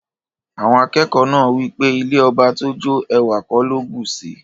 Awon akeko naa wipe ilẹ̀ ọbà tó jó, èwà kò ló bùṣí.